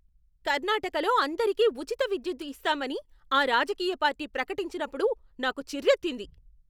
కర్ణాటకలో అందరికీ ఉచిత విద్యుత్తు ఇస్తామని ఆ రాజకీయ పార్టీ ప్రకటించినప్పుడు నాకు చిర్రెత్తింది.